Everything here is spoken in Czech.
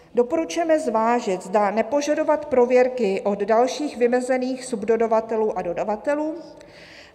"Doporučujeme zvážit, zda nepožadovat prověrky od dalších vymezených subdodavatelů a dodavatelů.